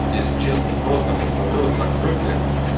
если честно вот просто-напросто рот закрой блять